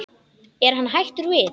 Er hann hættur við?